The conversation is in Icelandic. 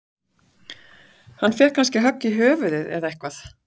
Fékk hann kannski högg í höfuðið eða eitthvað?